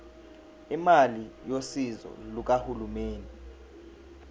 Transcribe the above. imali yosizo lukahulumeni